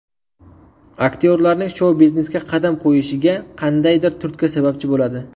Aktyorlarning shou-biznesga qadam qo‘yishiga qandaydir turtki sababchi bo‘ladi.